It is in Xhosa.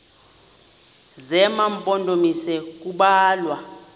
zema mpondomise kubalwa